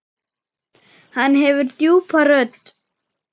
Hann hefur djúpa rödd.